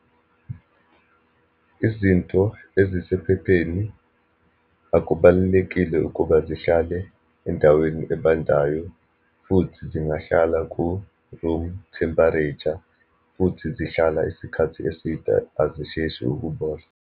Izinto ezisephepheni akubalulekile ukuba zihlale endaweni ebandayo, futhi singahlala ku-room temperature, futhi zihlala isikhathi eside, azisheshi ukubola.